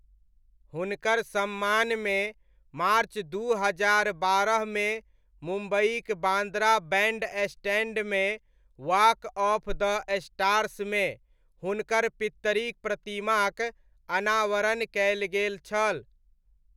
हुनकर सम्मान मे मार्च दू हजार बारहमे मे मुम्बइक बान्द्रा बैण्डस्टैण्डमे वॉक ऑफ द स्टार्समे हुनकर पित्तरिक प्रतिमाक अनावरण कयल गेल छल।